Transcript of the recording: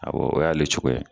Awɔ o y'ale cogoya ye